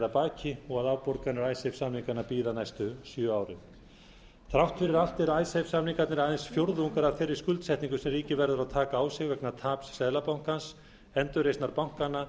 að baki og að afborganir icesave samninganna bíða næstu sjö árin þrátt fyrir allt eru icesave samningarnir aðeins fjórðungur af þeirri skuldsetningu sem ríkið verður að taka á sig vegna taps seðlabankans endurreisnar bankanna